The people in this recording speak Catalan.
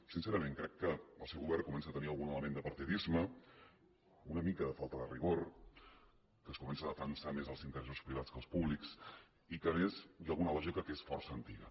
sincerament crec que el seu govern comença a tenir algun element de partidisme una mica de falta de rigor que es comença a defensar més els interessos privats que els públics i que a més hi ha alguna lògica que és força antiga